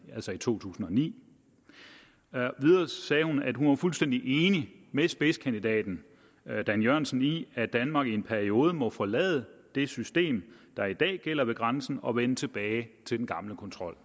altså i to tusind og ni videre sagde hun at hun var fuldstændig enig med spidskandidaten dan jørgensen i at danmark i en periode må forlade det system der i dag gælder ved grænsen og vende tilbage til den gamle kontrol